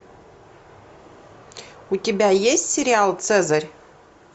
у тебя есть сериал цезарь